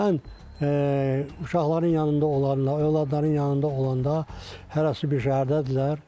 Mən uşaqların yanında olanda, övladların yanında olanda hərəsi bir şəhərdədirlər.